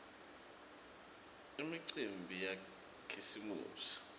imicimbi yakhisimusi